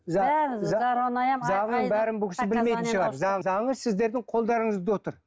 заңның бәрін бұл кісі білмейтін шығар сіздердің қолдарыңызда отыр